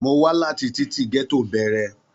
Mo wà láti titi gẹto bẹ̀rẹ̀.